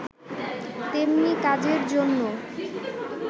তেমনি কাজের জন্য